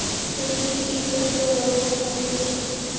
Ég kíkti gegnum slörið og fann að ég brosti.